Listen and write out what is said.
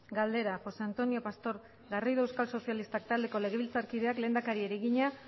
galdera josé antonio pastor garrido euskal sozialistak taldeko legebiltzarkideak lehendakariari egina